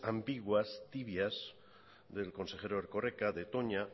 ambiguas tibias del consejero erkoreka de toña